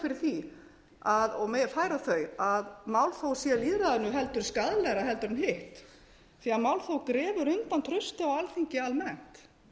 fyrir því og megi færa þau að málþóf sé lýðræðinu heldur skaðlegra heldur en hitt því að málþóf grefur undan trausti á alþingi almennt